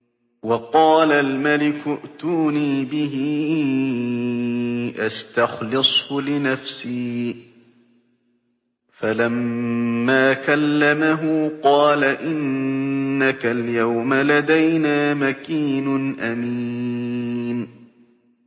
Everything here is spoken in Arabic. وَقَالَ الْمَلِكُ ائْتُونِي بِهِ أَسْتَخْلِصْهُ لِنَفْسِي ۖ فَلَمَّا كَلَّمَهُ قَالَ إِنَّكَ الْيَوْمَ لَدَيْنَا مَكِينٌ أَمِينٌ